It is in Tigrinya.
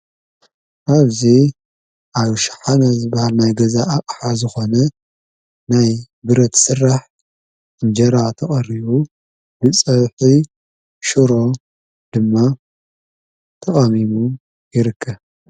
ኣብዙ ኣይሽሓነ ዝበሃር ናይ ገዛ ኣቕሓ ዝኾነ ናይ ብረት ጽራሕ እንጀራ ተቐርቡ ንጸዊሒ ሽሮ ድማ ተሚሙ ይርከብ።